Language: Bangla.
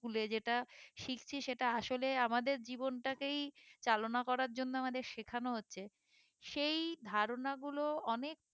school এ যেটা শিখছি সেটা আসলে আমাদের জীবনটা কেই চালনা করার জন্য আমাদের শেখানো হচ্ছে সেই ধারণা গুলো অনেক